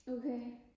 okay